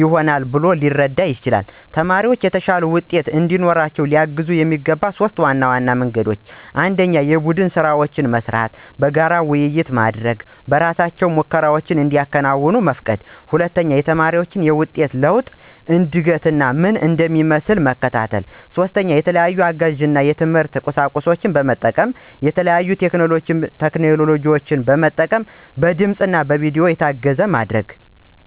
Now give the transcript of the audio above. ይሆናል ብሎ ሊረዳ ይችላል። ተማሪዎች የተሻለ ውጤት እንዲያመጡ ለማገዝ የሚጠቀሙባቸው 3 ዘዴዎች ብየ ማስበው 1=የቡድን ስራዎች መስራት፣ በጋራ ውይይቶች ማድረግ እና በእራሳቸው ሙከራዎችን እንዲያከናውኑ መፍቀድ 2=የተማሪዎችን የውጤት ለውጥ እና እድገት ምን እንደሚመስል መከታተል። 3=የተለያዩ አጋዥ የትምህርት ቁሳቁሶችን በመጠቀም እና የተለያዩ ቴክኖሎጂን መጠቀም በድምፅ እና በቪዲዮ የታገዘ ማድረግ።